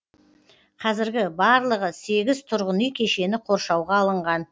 қазір барлығы сегіз тұрғын үй кешені қоршауға алынған